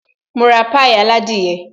Máa ra pie aládìyẹ